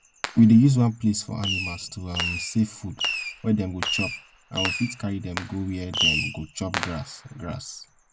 we dey use one place for animals to um save food wey dem go chop and we fit carry dem go where dem go chop grass grass